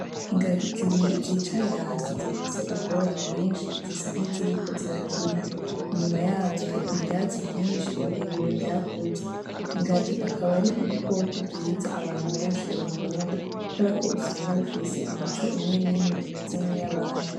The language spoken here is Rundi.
Ingagi zibiri zicaye hasi zifise ubwoya bwinshi zisa n'iziriko zirakina, inyuma yazo hari ivyatsi vyinshi birebire vyakuze ingagi akaba ari ibikoko vyiza abantu benshi bakunda kubera ko usanga bifise imico imwe n'imwe imeze nkiy'abantu.